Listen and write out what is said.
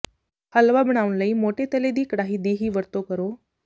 ਹਲਵਾ ਬਣਾਉਣ ਲਈ ਮੋਟੇ ਤਲੇ ਦੀ ਕੜਾਹੀ ਦੀ ਹੀ ਵਰਤੋ ਕਰੋ